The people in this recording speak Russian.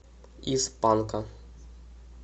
из панка